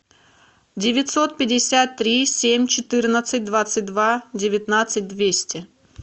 девятьсот пятьдесят три семь четырнадцать двадцать два девятнадцать двести